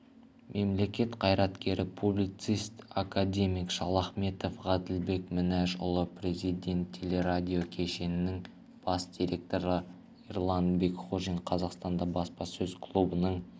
мемлекет қайреткері публицист академик шалахметов ғаділбек мінәжұлы президент телерадио кешенінің бас директоры ерлан бекқожин қазақстан баспасөз клубының